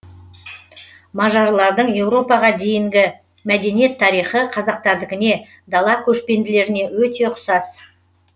мажарлардың еуропаға дейінгі мәдениет тарихы қазақтардікіне дала көшпенділеріне өте ұқсас